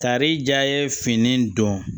Tari ja ye fini dɔn